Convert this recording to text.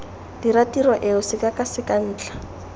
dira tiro eo sekakaseka ntlha